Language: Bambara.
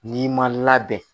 N'i ma labɛn